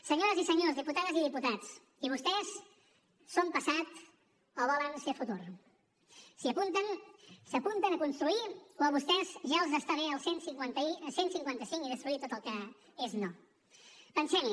senyores i senyors diputades i diputats i vostès són passat o volen ser futur s’hi apunten s’apunten a construir o a vostès ja els està bé el cent i cinquanta cinc i destruir tot el que és no pensem hi